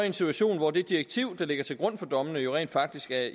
en situation hvor det direktiv der ligger til grund for dommene jo rent faktisk er